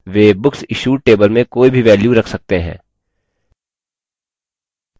वे books issued table में कोई भी value रख सकते हैं